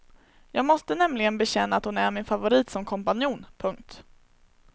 Jag måste nämligen bekänna att hon är min favorit som kompanjon. punkt